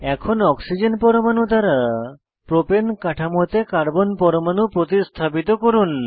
এখন অক্সিজেন পরমাণু দ্বারা প্রোপেন কাঠামোতে কার্বন পরমাণু প্রতিস্থাপিত করুন